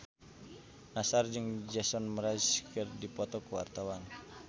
Nassar jeung Jason Mraz keur dipoto ku wartawan